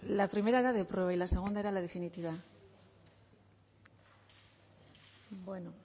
la primera era de prueba y la segunda era la definitiva bueno